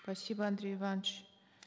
спасибо андрей иванович